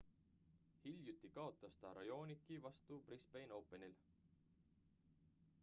hiljuti kaotas ta raonici vastu brisbane openil